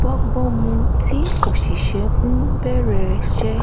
bọ́gbọ́n mu tí òṣìṣẹ́ ń béèrè ṣe